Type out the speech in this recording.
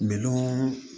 Minɔnɔ